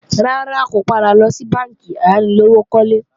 Rárá, kò padà lọ sí bánkì ayánilówókọ́lé